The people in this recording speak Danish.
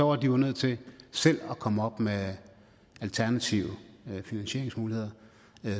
var de jo nødt til selv at komme op med alternative finansieringsmuligheder